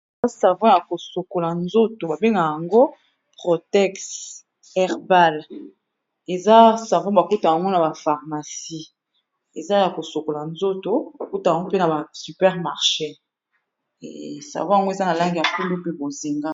Eza savon ya ko sokola nzoto ba bengaka yango Protex herbal, eza savon ba kutaka yango na ba pharmacie eza ya ko sokola nzoto. Ba kutaka yango mpe na ba super marché savon yango eza na langi ya pondu mpe bozinga.